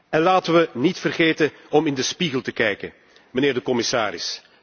En laten we niet vergeten in de spiegel te kijken, mijnheer de commissaris.